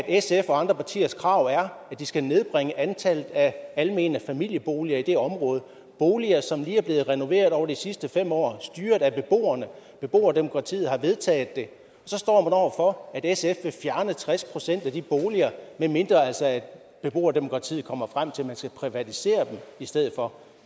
sf og andre partiers krav er at de skal nedbringe antallet af almene familieboliger i det område boliger som lige er blevet renoveret over de sidste fem år styret af beboerne beboerdemokratiet har vedtaget det så står man over for at sf vil fjerne tres procent af de boliger medmindre altså beboerdemokratiet kommer frem til at man skal privatisere dem i stedet for